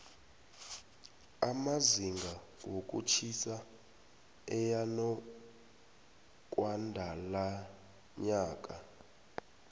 amazinga wokutjhisa eyanokwandalonyaka